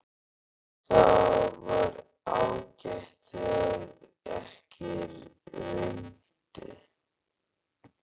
Það var ágætt þegar ekki rigndi.